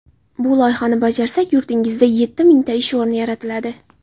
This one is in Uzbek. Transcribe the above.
Bu loyihani bajarsak, yurtingizda yetti mingta ish o‘rni yaratiladi.